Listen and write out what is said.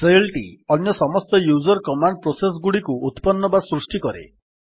shell ଟି ଅନ୍ୟ ସମସ୍ତ ୟୁଜର୍ କମାଣ୍ଡ୍ ପ୍ରୋସେସ୍ ଗୁଡିକୁ ଉତ୍ପନ୍ନ ବା ସୃଷ୍ଟି କରେ